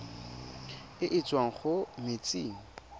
e e tswang mo metsing